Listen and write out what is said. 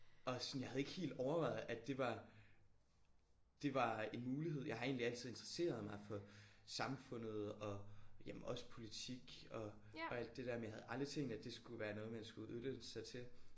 Og sådan jeg havde ikke helt overvejet at det var det var en mulighed. Jeg har egentlig altid interesseret mig for samfundet og jamen også politik og og alt det der men jeg havde aldrig tænkt at det skulle være noget man skulle uddanne sig til